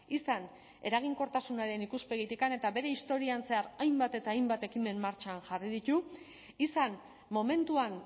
izan eraginkortasunaren ikuspegitik eta bere historian zehar hainbat eta hainbat ekimen martxan jarri ditu izan momentuan